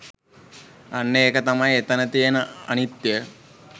අන්න ඒක තමයි එතැන තියෙන අනිත්‍යය